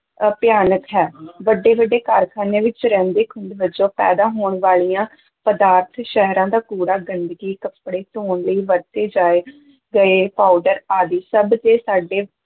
ਅਹ ਭਿਆਨਕ ਹੈ ਵੱਡੇ-ਵੱਡੇ ਕਾਰਖਾਨਿਆਂ ਵਿੱਚ ਰਹਿੰਦੇ-ਖੂੰਹਦ ਵਜੋਂ ਪੈਦਾ ਹੋਣ ਵਾਲੀਆਂ ਪਦਾਰਥ, ਸ਼ਹਿਰਾਂ ਦਾ ਕੂੜਾ, ਗੰਦਗੀ, ਕੱਪੜੇ ਧੋਣ ਲਈ ਵਰਤੇ ਜਾਏ ਗਏ ਪਾਊਡਰ ਆਦਿ ਸਭ ਤੇ ਸਾਡੇ